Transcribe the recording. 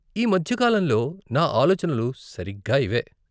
ఈ మధ్య కాలంలో నా ఆలోచనలు సరిగ్గా ఇవే.